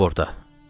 Nə olub orda?